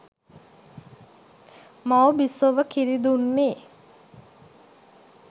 මවු බිසොව කිරි දුන්නේ